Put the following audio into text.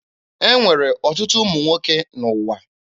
E nwere ọtụtụ ụmụ nwoke n'ụwa.